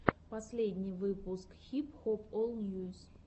последний выпуск хип хоп ол ньюс